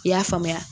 I y'a faamuya